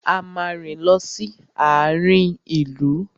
A máa rìn lọ sí àarin ìlú.